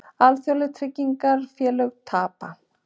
Alþjóðleg tryggingafélög tapa